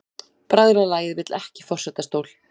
Bræðralagið vill ekki forsetastól